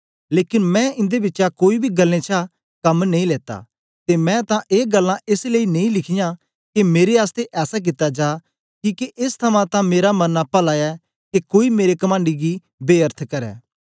लेकन मैं इंदे बिचा कोई बी गल्लें छा कम नेई लेत्ता ते मैं तां ए गल्लां एस लेई नेई लिखीयां के मेरे आसतै ऐसा कित्ता जा किके एस थमां तां मेरा मरना पला ऐ के कोई मेरे कमंड गी बेअर्थ करै